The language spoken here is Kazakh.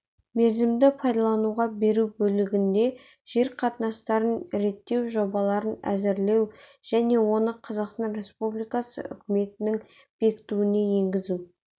мерзімді пайдалануға беру бөлігінде жер қатынастарын реттеу жобаларын әзірлеу және оны қазақстан республикасы үкіметінің бекітуіне енгізу